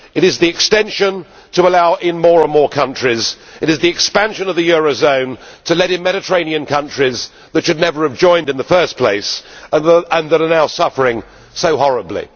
It is the expansion to allow in more and more countries it is the expansion of the eurozone to let in Mediterranean countries which should have never have joined in the first place and which are now suffering so horribly.